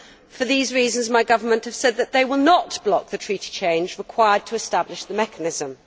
For these reasons, my government has said that it will not block the Treaty change required to establish the mechanism.